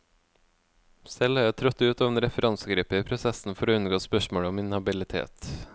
Selv har jeg trådt ut av en referansegruppe i prosessen for å unngå spørsmålet om inhabilitet.